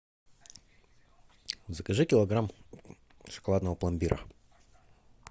закажи килограмм шоколадного пломбира